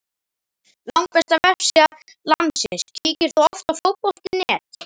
Langbesta vefsíða landsins Kíkir þú oft á Fótbolti.net?